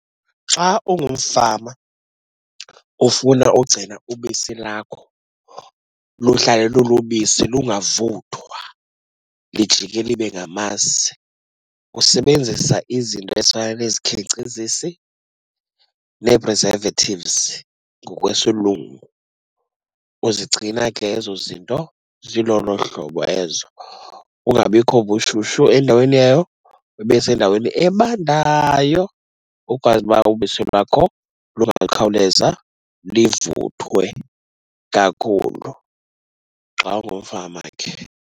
Xa ungumfama ufuna ugcina ubisi lakho luhlale lulubisi lungavuthwa lijike libe ngamasi, usebenzisa izinto ezifana nezikhenkcezisi nee-preservatives ngokwesilungu. Uzigcina ke ezo zinto zilolo hlobo ezo, kungabikho ubushushu endaweni yayo, zibe sendaweni ebandayo. Ukwazi uba ubisi lwakho lungakhawuleza livuthwe kakhulu xa ungumfama ke.